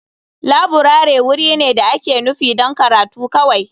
Laburare wuri ne da ake nufi don karatu kawai.